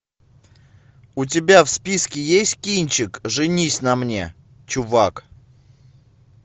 у тебя в списке есть кинчик женись на мне чувак